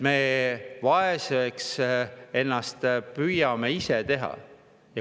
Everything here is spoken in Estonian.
Me püüame ennast ise vaeseks teha.